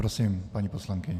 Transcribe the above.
Prosím, paní poslankyně.